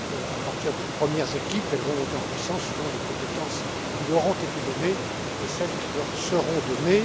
À partir de premières équipes, elles vont se développer selon les compétences qui leur ont été données et celles qui leur seront données.